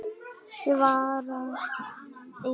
Svara engu.